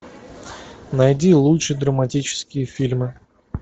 найди лучшие драматические фильмы